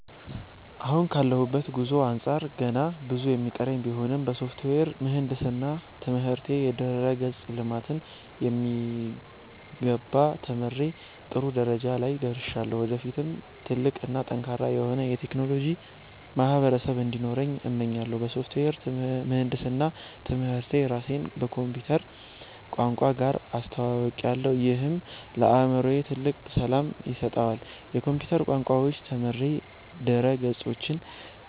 አሁን ካለሁበት ጉዞ አንጻር ገና ብዙ የሚቀረኝ ቢሆንም፣ በሶፍትዌር ምህንድስና ትምህርቴ የድረ-ገጽ ልማትን በሚገባ ተምሬ ጥሩ ደረጃ ላይ ደርሻለሁ። ወደፊትም ትልቅ እና ጠንካራ የሆነ የቴክኖሎጂ ማህበረሰብ እንዲኖረኝ እመኛለሁ። በሶፍትዌር ምህንድስና ትምህርቴ ራሴን ከኮምፒውተር ቋንቋዎች ጋር አስተውውቄያለሁ፤ ይህም ለአእምሮዬ ትልቅ ሰላም ይሰጠዋል። የኮምፒውተር ቋንቋዎችን ተምሬ ድረ-ገጾችን